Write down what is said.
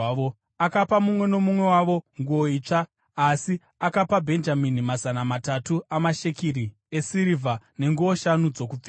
Akapa mumwe nomumwe wavo nguo itsva, asi akapa Bhenjamini mazana matatu amashekeri esirivha nenguo shanu dzokupfeka.